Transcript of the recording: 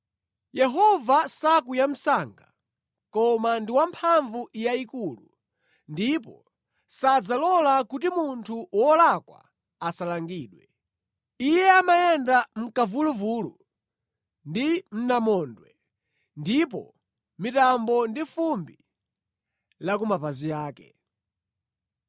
Yehova sakwiya msanga koma ndi wa mphamvu yayikulu; ndipo sadzalola kuti munthu wolakwa asalangidwe. Iye amayenda mʼkamvuluvulu ndi mʼnamondwe, ndipo mitambo ndi fumbi la ku mapazi ake.